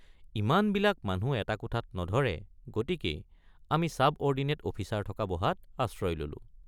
ইমানবিলাক মানুহ এটা কোঠাত নধৰে গতিকেই আমি ছাবঅৰ্ডিনেট অফিচাৰ থকা বহাত আশ্ৰয় ললোঁ।